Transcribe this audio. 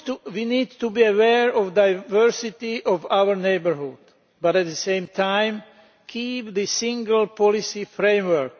We need to be aware of the diversity of our neighbourhood but, at the same time, keep the single policy framework.